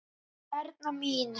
Erna mín.